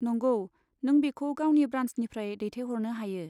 नंगौ, नों बेखौ गावनि ब्रान्सनिफ्राय दैथायहरनो हायो।